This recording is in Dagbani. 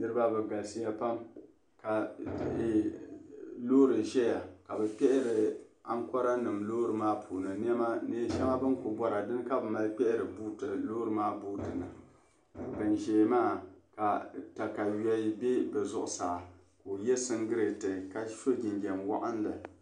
niriba bɛ galisiya pam ka loori ʒia ka bɛ kpɛhiri ankɔranima loori maa puuni neen' shɛŋa bɛ ni ku bɔra din ka mali kpɛhiri loori maa buuti ni ban zaya maa ka takayua be bɛ zuɣusaa ka o ye siŋgileeti ka so jinjam waɣinli